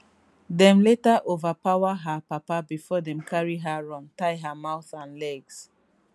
dem later overpower her papa bifor dem carry her run tie her mouth and legs